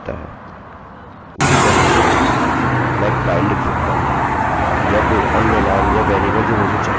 उसी तरह से मैं kyle लिख सकता हूँ या कोई अन्य नाम या वेरिएबल जो मुझे चाहिए